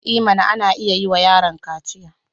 I mana! ana iya yi wa yaron kaciya.